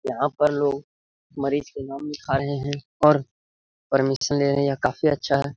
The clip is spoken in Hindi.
यहाँ पर लोग मरीज के नाम लिखा रहे है और परमिशन ले रहे है यह काफी अच्छा है।